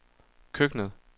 køkkenet